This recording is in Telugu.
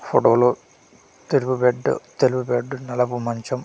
ఫోటో లో తెలుపు బెడ్ తెలుపు బెడ్ నలుపు మంచం.